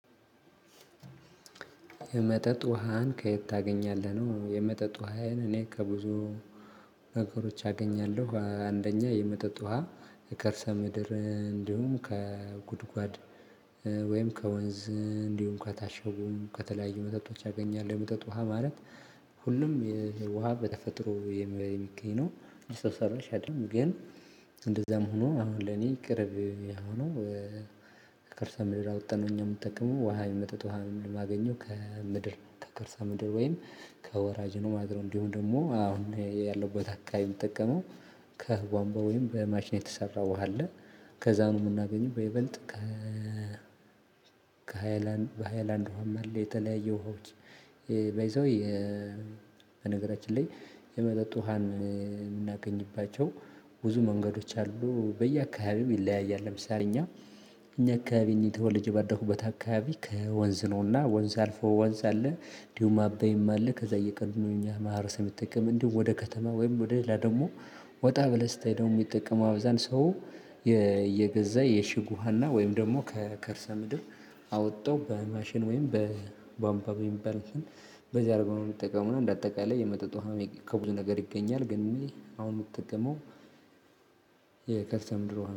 የመጠጥ ውሃን ከየት ታገኛለህ ነው? የመጠጥ ውሃዬን እኔ ከብዙ ነገሮች አገኛለሁ አንደኛ የመጠጥ ውሃ የከርሰ ምድር እንዲሁም ከጉድጓድ ወይም ከወንዝ እንዲሁም ከታሸጉም ከተለያዩ መጠጦች አገኛለሁ የመጠጥ ውሃ ማለት ሁሉም የውሃ በተፈጥሮ የሚገኝ ነው ሰው ሰራሽ አይደለም። ግን እንደዛም ሆኖ አሁን ለኔ ቅርብ የሆነው ከከርሰ ምድር አወጠን ነው። እኛ የምጠቅመው ውሃ የመጠጥ ውሃ የሚል የማገኘው ከምድር ከከርሰ ምድር ወይም ከወራጅ ነው ማለት ነው። እንዲሁም ደግሞ አሁን ላይ ያለሁበት አካባቢ የምጠቀመው ከቧንቧ ወይም በማሽን የተሰራ ውሃ አለ ከዛ ነው። የምናገኘው በይበልጥ ከ ከሃይላ በሃይላንድ ውሃም አለ የተለያየ ውሃዎች ባይዘዌ። በነገራችን ላይ የመጠጥ ውሃን የምናገኝባቸው ብዙ መንገዶች አሉ በየአካባቢው ይለያያል። ለምሳሌ እኛ እኛ አካባቢ እኔ ተወልጄ ባደኩበት አካባቢ ከወንዝ ነውና ወንዝ አልፎ ወንዝ አለ። እንዲሁም አባይም አለ ከዛ እየቀዱ ነው የእኛ ማህበረሰብ የሚጠቀም እንዲሁም ወደ ከተማ ወይም ወደ ሌላ ደግሞ። ወጣ ብለህ ስታይ ደግሞ የሚጠቀመው አብዛኛው ሰው የ እየገዛ የሽግ ውሃና ወይም ደግሞ ከከርሰ ምድር አወጠው በማሽን ወይም በቧምቧ በሚባል እንትን በዚያ አድርገው ነው የሚጠቀመው እና እንደ አጠቃላይ የመጠጥ ውሃ ከብዙ ነገር ይገኛል። ግን እኔ አሁን የምጠቀመው የከርሰ ምድር ውሃ